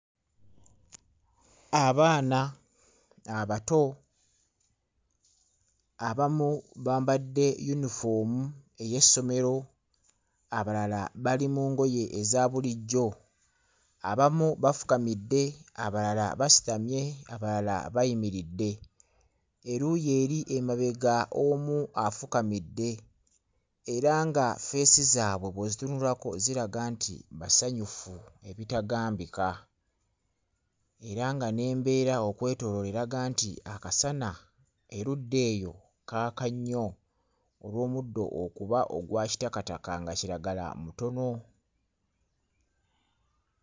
Abaana abato abamu bambadde yinifoomu ey'essomero abalala bali mu ngoye eza bulijjo abamu bafukamidde abalala basitamye abalala bayimiridde eruuyi eri emabega omu afukamidde era nga ffeesi zaabwe bw'ozitunulako ziraga nti basanyufu ebitagambika era nga n'embeera okwetooloola eraga nti akasana erudda eyo kaaka nnyo olw'omuddo okuba ogwa kitakataka nga kiragala mutono.